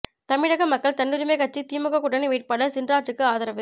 தமிழக மக்கள் தன்னுரிமை கட்சி திமுக கூட்டணி வேட்பாளர் சின்ராஜூக்கு ஆதரவு